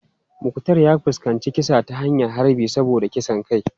Muktar ya fuskanci kisa ta hanyar harbi saboda kisan kai.